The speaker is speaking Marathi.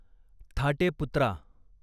थाटे पुत्रा